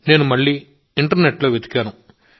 నేను మళ్ళీ ఇంటర్నెట్లో వెతికాను